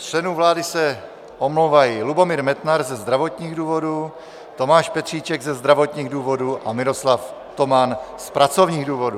Z členů vlády se omlouvají Lubomír Metnar ze zdravotních důvodů, Tomáš Petříček ze zdravotních důvodů a Miroslav Toman z pracovních důvodů.